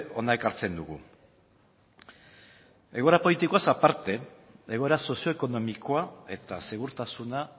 hona ekartzen dugu egoera politikoaz aparte egoera sozioekonomikoa eta segurtasuna